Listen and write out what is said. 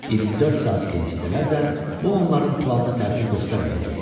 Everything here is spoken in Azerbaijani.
24 saat geciksələr də, bu onların planına təsir göstərməyəcəkdi.